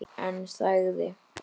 En þagði.